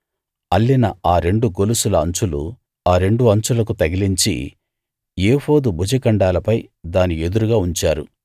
అల్లిన ఆ రెండు గొలుసుల అంచులు ఆ రెండు అంచులకు తగిలించి ఏఫోదు భుజఖండాలపై దాని ఎదురుగా ఉంచారు